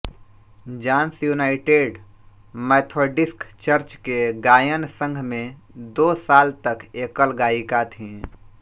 Johns United Methodist Church के गायन संघ में दो साल तक एकल गायिका थी